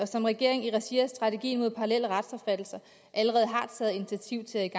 som regeringen i regi af strategien mod parallelle retsopfattelser allerede har taget initiativ til at